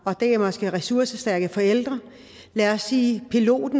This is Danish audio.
det måske er ressourcestærke forældre lad os sige at en pilot